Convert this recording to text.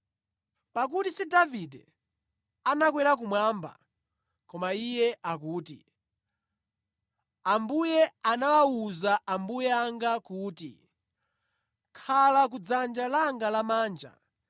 Pakuti si Davide anakwera kumwamba koma iye akuti, “ ‘Ambuye anawuza Ambuye anga kuti: Khala kudzanja langa lamanja